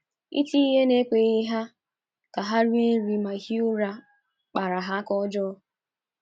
Iti ihe na ekweghị ka ha rie nri ma hie ụra kpara ha aka ọjọọ.